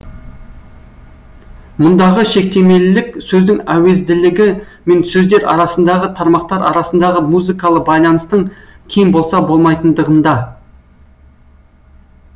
мұндағы шектемелілік сөздің әуезділігі мен сөздер арасындағы тармақтар арасындағы музыкалы байланыстың кем болса болмайтындығында